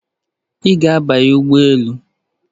Ị ga-abanye ụgbọ elu?